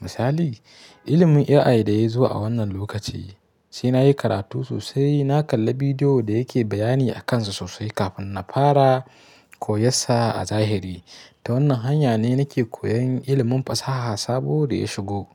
Misali, ilimin AI da ya zuwa a wannan lokaci sai na yi karatu sosai, na kalla bidiyo da yake bayani a kansa sosai kafin na fara koyinsa a zahiri. Ta wannan hanya ne nake koyon ilimin fasaha sabo da ya shigo.